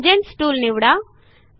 tangents tool निवडा